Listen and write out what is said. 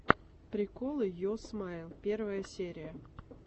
приколы йо смайл первая серия